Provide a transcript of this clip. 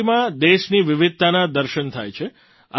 રંગોળીમાં દેશની વિવિધતાનાં દર્શન થાય છે